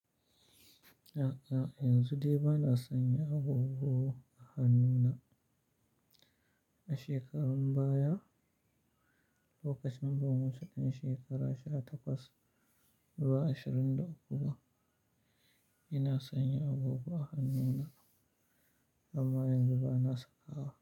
A'a, yanzu dai ba na sanya agogo a hannuna. A shekarun baya, lokacin da muna 'yan shekara 18 zuwa 21, ina sanya agogo a hannuna amma yanzu ba na sakawa.